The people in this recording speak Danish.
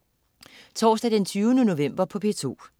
Torsdag den 20. november - P2: